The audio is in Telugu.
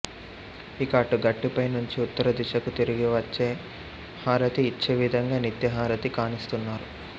ఇక అటు గట్టుపై నుంచి ఉత్తర దిశకు తిరిగి ఇచ్చే హారతి ఇచ్చేవిధంగా నిత్య హారతి కానిస్తున్నారు